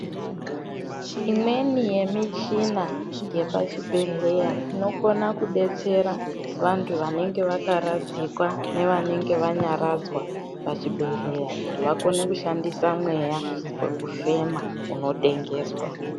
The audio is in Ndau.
Imweni yemichina yepachibhedhleya inokona kudetsera vantu vanenge vakaradzikwa nevanenge vanyaradzwa pachibhedhleya kuti vakone kushandisa mweya wekufema unotengeswa.